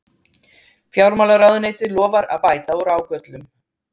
Fjármálaráðuneytið lofar að bæta úr ágöllum